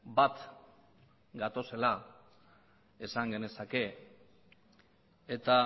bat gatozela esan genezake eta